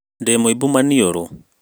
Ndĩ mũimbu maniũru